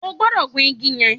O gbodò gun igi yan